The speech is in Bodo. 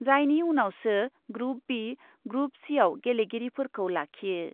जायनि उनावसो ग्रुप बि, ग्रुप सिआव गेलेगिरिफोरखौ लाखियो।